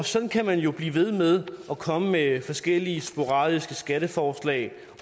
sådan kan man jo blive ved med at komme med forskellige sporadiske skatteforslag